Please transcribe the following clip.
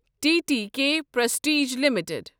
T T K prestige limited